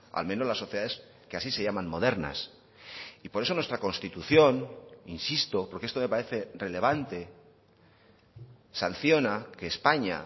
al menos las sociedades que así se llaman modernas y por eso nuestra constitución insisto porque esto me parece relevante sanciona que españa